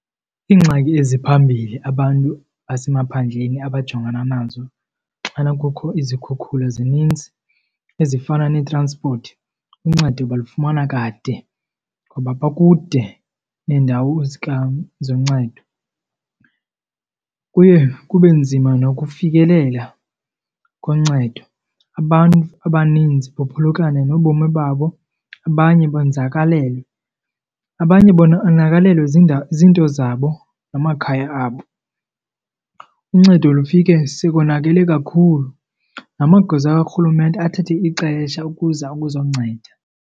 Iingxaki eziphambili abantu basemaphandleni abajongana nazo xana kukho izikhukhula zininzi ezifana ee-transport, uncedo balufumana kade ngoba bakude neendawo zoncedo. Kuye kube nzima nokufikelela koncedo, abantu abaninzi baphulukane nobomi babo abanye bonzakalele. Abanye zinto zabo namakhaya abo. Uncedo lufike sekonakele kakhulu, namagosa karhulumente athathe ixesha ukuza ukuzonceda.